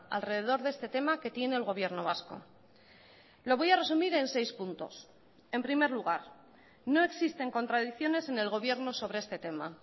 alrededor de este tema que tiene el gobierno vasco lo voy a resumir en seis puntos en primer lugar no existen contradicciones en el gobierno sobre este tema